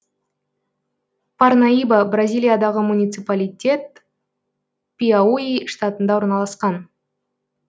парнаиба бразилиядағы муниципалитет пиауи штатында орналасқан